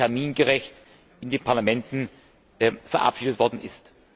termingerecht in den Parlamenten verabschiedet worden ist.